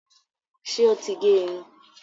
ṣe ọ tí gé Irun?